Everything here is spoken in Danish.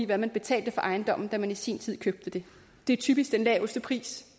hvad man betalte for ejendommen da man i sin tid købte den det er typisk den laveste pris